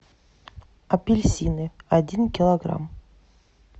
апельсины один килограмм